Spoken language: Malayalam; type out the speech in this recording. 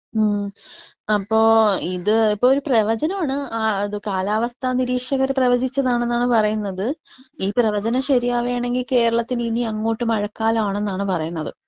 ഉം അപ്പോ ഇത് ഇപ്പോ ഒരു പ്രവചനമാണ്. ആ ഇത് കാലാവസ്ഥ നിരീക്ഷകർ പ്രവചിച്ചതാണെന്നാണ് പറയുന്നത്. ഈ പ്രവചന ശരിയാവേണെങ്കി കേരളത്തിന് ഇനി അങ്ങോട്ട് മഴക്കാലാണെന്നാണ് പറയുന്നത്.